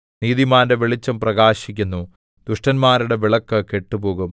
നീതിമാന്റെ വെളിച്ചം പ്രകാശിക്കുന്നു ദുഷ്ടന്മാരുടെ വിളക്ക് കെട്ടുപോകും